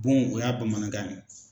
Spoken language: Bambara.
Bon o ye bamanankan ye.